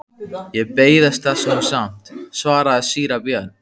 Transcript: Ég beiðist þess nú samt, svaraði síra Björn.